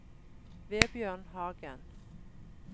Vebjørn Hagen